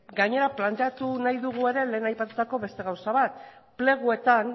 gainera planteatu nahi dugu ere lehen aipatutako beste gauza bat pleguetan